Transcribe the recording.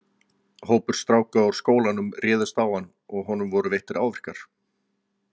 Hópur stráka úr skólanum réðist á hann og honum voru veittir áverkar.